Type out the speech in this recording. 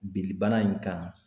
Binnibana in kan